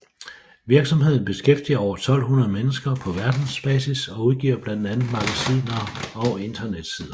Virksomheden beskæftiger over 1200 mennesker på verdensbasis og udgiver blandt andet magasiner og internetsider